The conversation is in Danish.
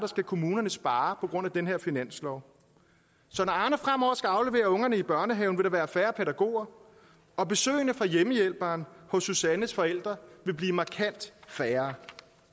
skal kommunerne spare på grund af den her finanslov så når arne fremover skal aflevere ungerne i børnehaven vil der være færre pædagoger og besøgene fra hjemmehjælperen hos susannes forældre vil blive markant færre